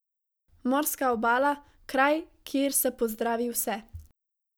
Morska obala, kraj, kjer se pozdravi vse.